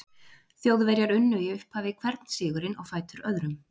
Þjóðverjar unnu í upphafi hvern sigurinn á fætur öðrum.